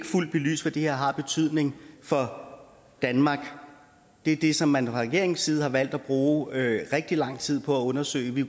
fuldt belyst hvad det her har af betydning for danmark det er det som man fra regeringens side har valgt at bruge rigtig lang tid på at undersøge vi